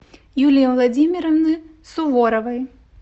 юлии владимировны суворовой